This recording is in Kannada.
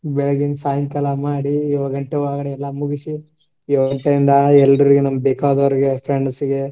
ಬೆಳ್ಳಿಗಿಂದ್ ಸಾಯಂಕಾಲ ಮಾಡಿ ಏಳ್ ಗಂಟೆ ಒಳಗಡೆ ಎಲ್ಲ ಮುಗಿಸಿ ಎಲ್ರಿಗೂ ನಮಗ್ ಬೇಕಾದವ್ರಿಗೆ friends ಗೆ